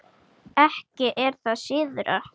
Ekki er það síðra.